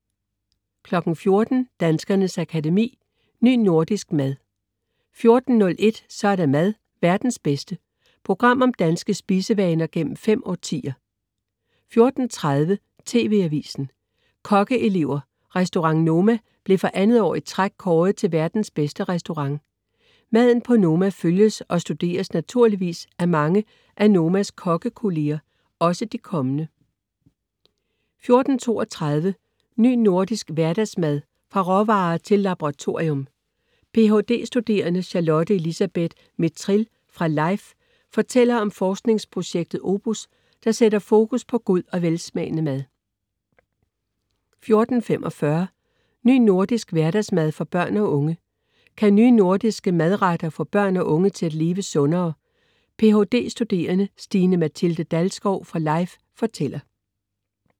14.00 Danskernes Akademi: Ny nordisk mad 14.01 Så er der mad, verdens bedste. Program om danske spisevaner gennem fem årtier 14.30 TV Avisen, Kokkeelever. Restaurant Noma blev for andet år i træk kåret til verdens bedste restaurant. Maden på Noma følges og studeres naturligvis af mange af Nomas kokkekollegaer, også de kommende 14.32 Ny Nordisk Hverdagsmad, fra råvarer til laboratorium. Ph.d.-studerende Charlotte Elisabeth Mithril fra LIFE fortæller om forskningsprojektet OPUS, der sætter fokus på god og velsmagende mad 14.45 Ny Nordisk Hverdagsmad for børn og unge. Kan nye nordiske madretter få børn og unge til at leve sundere? Ph.d.-studerende Stine-Matilde Dalskov fra LIFE fortæller